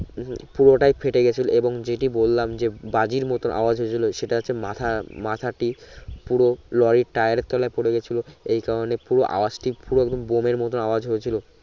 পুরোটাই ফেটে গেছে এবং যেটি বললাম যে বাজির মত আওয়াজ হয়েছিলো সেটা সে মাথা মাথাটি পুরো লরির টায়ারের তলায় পরে গেছিলো এই কারণে পুরো আওয়াজটি পুরো একদম বোমের মত আওয়াজ হয়েছিলো